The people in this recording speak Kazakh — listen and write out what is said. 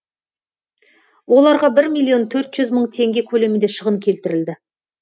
оларға бір миллион төрт жүз мың теңге көлемінде шығын келтірілді